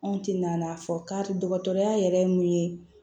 Anw ti na n'a fɔ kari dɔgɔtɔrɔya yɛrɛ ye mun ye